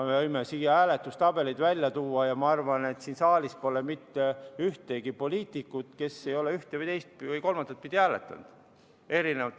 Me võime hääletustabeleid välja tuua ja ma arvan, et siin saalis pole mitte ühtegi poliitikut, kes ei ole erinevate eelnõude puhul ühte, teist või kolmandat pidi hääletanud.